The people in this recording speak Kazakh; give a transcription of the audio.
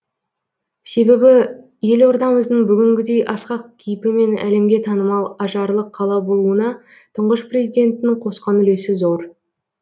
себебі елордамыздың бүгінгідей асқақ кейпі мен әлемге танымал ажарлы қала болуына тұңғыш президенттің қосқан үлесі зор